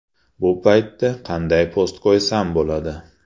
Bu paytda qayday post qo‘ysam bo‘ladi?